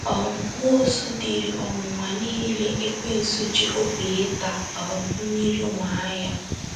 um Nwosu diri ọnwụnwa niile Ekwensu ji obi ịta um mmiri nwaa ya.